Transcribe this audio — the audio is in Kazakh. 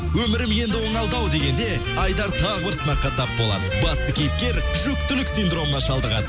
өмірім енді оңалды ау дегенде айдар тағы бір сынаққа тап болады басты кейіпкер жүктілік синдромына шалдығады